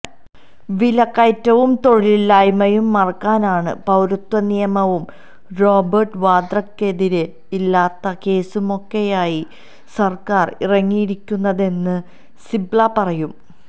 വിലക്കയറ്റവും തൊഴിലില്ലായ്മയും മറയ്ക്കാനാണ് പൌരത്വനിയമവും റോബര്ട്ട് വാദ്രക്കെതിരെ ഇല്ലാത്ത കേസുമൊക്കെയായി സര്ക്കാര് ഇറങ്ങിയിരിക്കുന്നതെന്ന് സിബല് പറയും